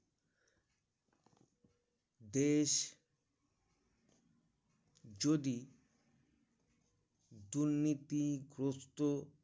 দেশ যদি দুনীতি গ্রস্ত